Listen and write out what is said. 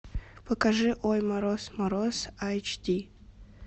покажи ой мороз мороз эйч ди